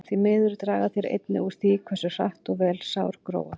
Því miður draga þeir einnig úr því hversu hratt og vel sár gróa.